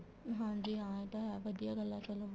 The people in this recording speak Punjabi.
ਹਾਂਜੀ ਹਾਂ ਏ ਤਾਂ ਹੈ ਵਧੀਆ ਗੱਲ ਏ ਚਲੋਂ